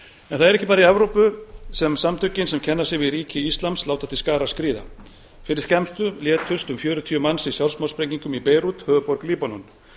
það er ekki bara í evrópu sem samtökin sem kenna sig við ríki íslams láta til skarar skríða fyrir skemmstu létust um fjörutíu manns í sjálfsmorðssprengingum í beirút höfuðborg líbanon